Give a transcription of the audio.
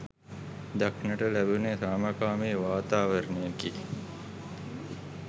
දක්නට ලැබුනේ සාමකාමී වාතාවරණයකි